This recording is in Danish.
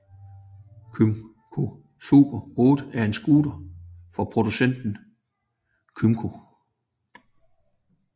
Kymco Super 8 er en scooter fra producenten Kymco